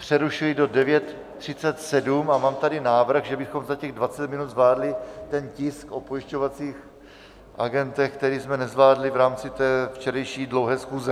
Přerušuji do 9.37 a mám tady návrh, že bychom za těch 20 minut zvládli ten tisk o pojišťovacích agentech, který jsme nezvládli v rámci té včerejší dlouhé schůze.